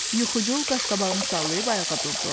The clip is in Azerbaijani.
Yuxucul qaşqabağını sallayıb ayağa durdu.